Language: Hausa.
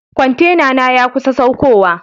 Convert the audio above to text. Kwantenana ya kusa saukowa.